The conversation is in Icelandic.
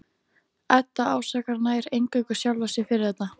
Edda ásakar nær eingöngu sjálfa sig fyrir þetta.